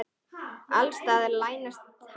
Alls staðar leynast hættur.